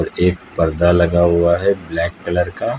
एक पर्दा लगा हुआ है ब्लैक कलर का।